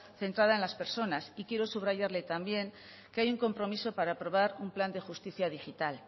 centrada en las personas y quiero subrayarle también que hay un compromiso para aprobar un plan de justicia digital